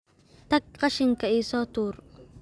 Tag qashinka ii soo tuur